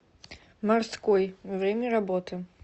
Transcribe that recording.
морской время работы